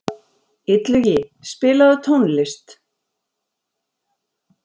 Illugi, spilaðu tónlist.